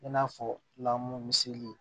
I n'a fɔ lamu miseli